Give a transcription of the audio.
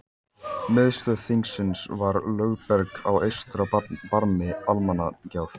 Miðstöð þingsins var Lögberg á eystra barmi Almannagjár.